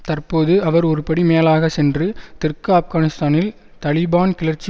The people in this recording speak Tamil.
தற்போது அவர் ஒருபடி மேலாக சென்று தெற்கு ஆப்கானிஸ்தானில் தலிபான் கிளர்ச்சி